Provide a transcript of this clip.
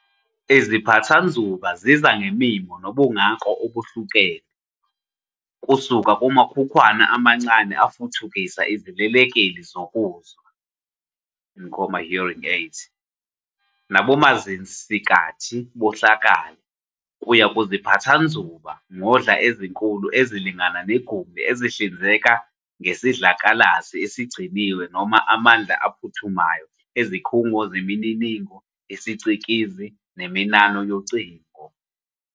Iziphathanzuba ziza ngemimo nobungako obuhlukene, kusuka kumakhukhwana amancane afukuthisa izilekeleli zokuzwa "hearing aids" nabomazisinkathi bohlakala, kuya kuziphathanzuba-ngodla ezinkulu ezilingana negumbi ezihlinzeka ngesidlakalasi esigciniwe noma amandla aphuthumayo izikhungo zemininingo yesicikizi neminano yocingo.